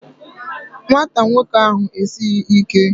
Nwata nwoke ahụ esighị ike